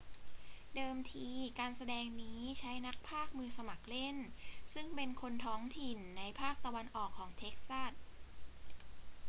เดิมทีการแสดงนี้ใช้นักพากย์มือสมัครเล่นซึ่งเป็นคนท้องถิ่นในภาคตะวันออกของเท็กซัส